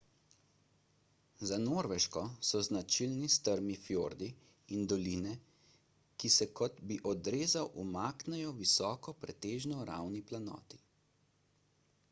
za norveško so značilni strmi fjordi in doline ki se kot bi odrezal umaknejo visoki pretežno ravni planoti